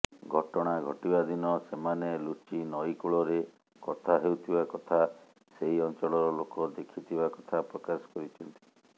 ଘଟଣା ଘଟିବାଦିନ ସେମାନେ ଲୁଚି ନଈକୂଳରେ କଥାହେଉଥିବା କଥା ସେହି ଅଂଚଳର ଲୋକ ଦେଖିଥିବା କଥା ପ୍ରକାଶ କରିଛନ୍ତି